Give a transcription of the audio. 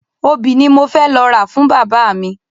Obì ni mo fẹ́ lọ ra fún bàbá mi.